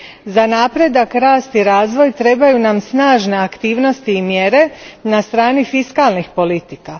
Za napredak, rast i razvoj trebaju nam snažne aktivnosti i mjere na strani fiskalnih politika.